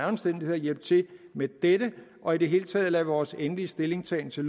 omstændigheder hjælpe til med dette og i det hele taget lade vores endelige stillingtagen til